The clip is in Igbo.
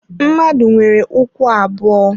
Mmadụ nwere ụkwụ abuo.